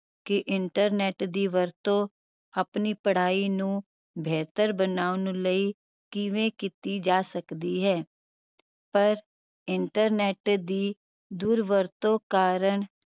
ਕਿ internet ਦੀ ਵਰਤੋਂ ਆਪਣੀ ਪੜ੍ਹਾਈ ਨੂੰ ਬਿਹਤਰ ਬਣਾਉਣ ਲਈ ਕਿਵੇਂ ਕਿੱਤੀ ਜਾ ਸਕਦੀ ਹੈ ਪਰ internet ਦੀ ਦੁਰਵਰਤੋਂ ਕਾਰਣ